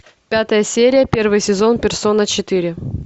пятая серия первый сезон персона четыре